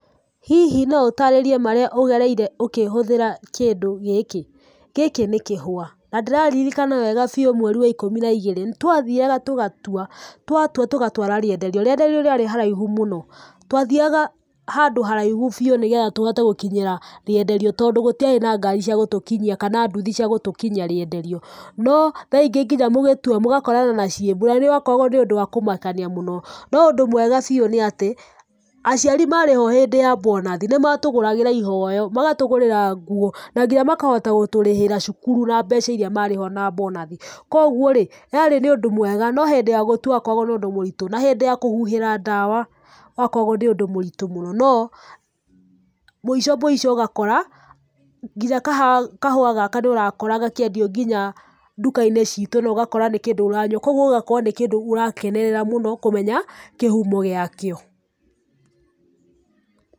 Hihi no ũtaarĩrie marĩa ũgereire ũkĩhũthĩra kĩndũ gĩkĩ? Gĩkĩ nĩ kĩhũa. Na ndĩraririkana wega biũ mweri wa ikũmi na igĩrĩ twathiaga tũgatua, twatua tũgatwara rĩenderio. Rĩenderio rĩarĩ handũ haraihu mũno. Twathiaga handũ haraihu biũ nĩ getha tũhote gũkinyĩra rĩenderio tondũ gũtiarĩ na ngari cia gũtũkinya kana nduthi cia gũtũkinyia rĩenderio.No tha ingĩ nginya mũgĩtua mũgakorana na ciĩmbu na nĩ wakoragũo ũrĩ ũndũ wa kũmakania mũno.No ũndũ mwega biũ nĩ atĩ, aciari marĩhwo hĩndĩ ya bonathi nĩ matũgũragĩra iheo, magatũgũrĩra nguo, na nginya makahota gũtũrĩhĩra cukuru na mbeca iria marĩhwo na bonathi, kwoguo rĩ, yarĩ nĩ ũndũ mwega no hĩndĩ ya gũtua kwakoragũo nĩ ũndũ mũritũ na kũhuhĩra ndawa gwakoragũo nĩ ũndũ mũritũ mũno no, mũico mũico ũgakora nginya kahũa gaka nĩ ũrakora gakĩendio nginya nduka-inĩ ciitũ na ũgakora nĩ kĩndũ ũranyua kwoguo ũgakora nĩ kĩndũ ũrakenerera mũno kũmenya kĩhumo gĩakĩo.